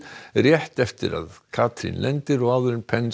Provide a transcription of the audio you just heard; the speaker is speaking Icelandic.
rétt eftir að Katrín lendir og áður en